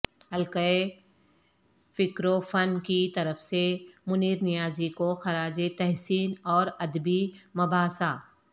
حلقہء فکروفن کی طرف سے منیر نیازی کو خراج تحسین اورادبی مباحثہ